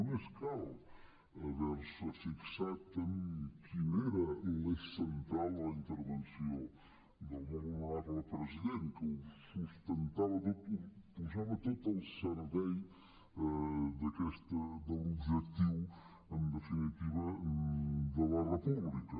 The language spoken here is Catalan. només cal haver se fixat en quin era l’eix central en la intervenció del molt honorable president que ho sustentava tot ho posava tot al servei de l’objectiu en definitiva de la república